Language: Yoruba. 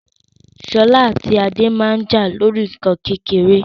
Sola ati Ade maa n ja lori nkan kekere